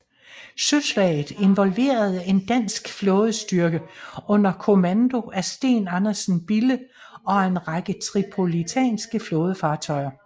Søslaget involverede en dansk flådestyrke under kommando af Steen Andersen Bille og en række tripolitanske flådefartøjer